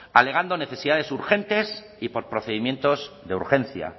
alegando necesidades urgentes y por procedimientos de urgencia